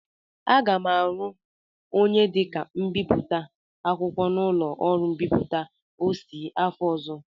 Aga m arụ onye dịka mbipụta akwụkwọ n'ụlọ ọrụ mbipụta Ossy afọ ọzọ.